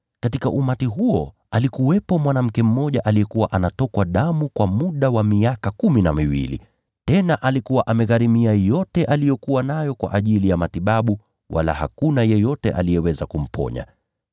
Katika umati huo palikuwa na mwanamke mmoja aliyekuwa na tatizo la kutokwa damu kwa muda wa miaka kumi na miwili. Tena alikuwa amegharimia yote aliyokuwa nayo kwa ajili ya matibabu, wala hakuna yeyote aliyeweza kumponya.